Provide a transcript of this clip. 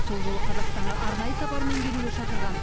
сол жолы қазақстанға арнайы сапармен келуге шақырған